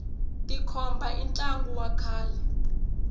tikhomba i ntlangu wa kahle